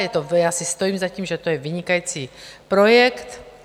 Já si stojím za tím, že to je vynikající projekt.